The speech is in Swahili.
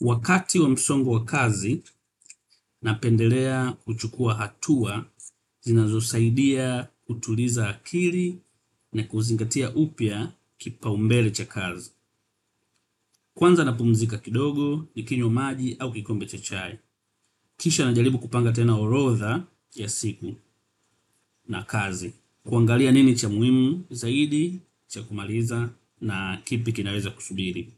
Wakati wa msongo wa kazi napendelea kuchukua hatua, zinazosaidia kutuliza akili na kuzingatia upya kipaumbele cha kazi. Kwanza napumzika kidogo, nikinywa maji au kikombe cha chai. Kisha najaribu kupanga tena orodha ya siku na kazi. Kuangalia nini cha muhimu, zaidi, cha kumaliza na kipi kinaweza kusubiri.